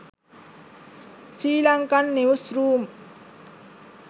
sri lankan news room